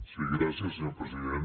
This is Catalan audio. sí gràcies senyor president